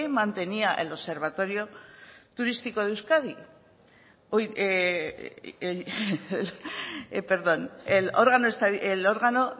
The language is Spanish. mantenía